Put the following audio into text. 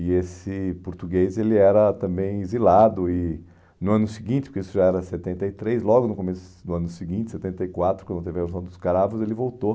E esse português ele era também exilado e no ano seguinte, porque isso já era setenta e três, logo no começo do ano seguinte, setenta e quatro, quando teve a Revolução dos Cravos, ele voltou.